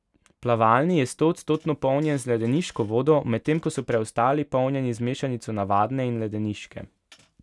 Plavalni je stoodstotno polnjen z ledeniško vodo, medtem ko so preostali polnjeni z mešanico navadne in ledeniške.